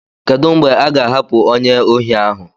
Kedu mgbe a ga-ahapụ onye ohi ahu?